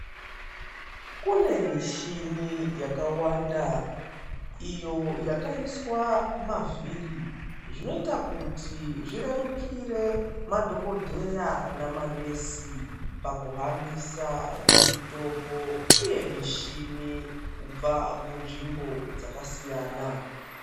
Kune michini yakawanda iyo yakaiswa mavhiri zvinoita kuti zvirerukire madhokodheya nemanesi pakuhambisa mitombo uye michini kubva munzvimbo dzakasiyana.